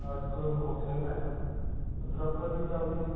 ਇੱਕ ਦਿਨ ਉੱਥੇ ਪੰਦਰਾਂ ਪੰਦਰਾਂ ਦਿਨ ਚਲਦੀ ਆ